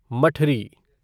मठरी